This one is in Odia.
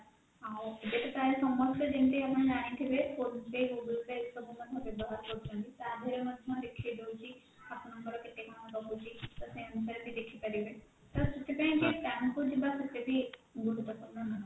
ଆଉ ଏବେ ତ ପ୍ରାୟ ସମସ୍ତେ ଯେମତି ଆପଣ ଜାଣିଥିବେ phone pay, google pay ଏସବୁ ମଧ୍ୟ ବ୍ୟବହାର କରୁଛନ୍ତି ତାଧିଏରେ ମଧ୍ୟ ଦେଖେଇଦଉଛି ଆପଣଙ୍କର କେତେ କଣ ରହୁଛି ତ ସେ ଅନୁସାରେ ବି ଦେଖିପାରିବେ ତ ସେଥିପାଇଁ ଯେ bank କୁ ଯିବା ସେତେ ବି ଗୁରୁତ୍ପୂର୍ଣ ନୁହଁ